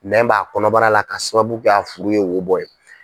Nɛn b'a kɔnɔbara la k'a sababu kɛ a furu ye wo bɔ ye.